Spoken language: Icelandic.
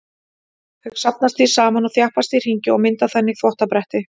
Þau safnast því saman og þjappast í hryggi og mynda þannig þvottabretti.